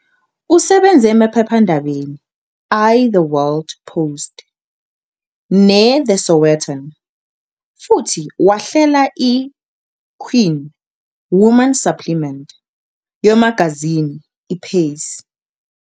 Usebenze "emaphephandabeni i-The World","Post" ne- "The Sowetan" futhi wahlela i- "Queen" women supplement yomagazini i-"Pace."